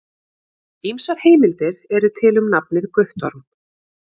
Ýmsar heimildir eru til um nafnið Guttorm.